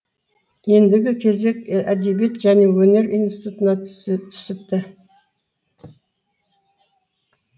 ендігі кезек әдебиет және өнер институтына түсіпті